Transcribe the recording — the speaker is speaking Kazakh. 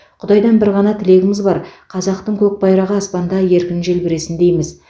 құдайдан бір ғана тілегіміз бар қазақтың көк байрағы аспанда еркін желбіресін дейміз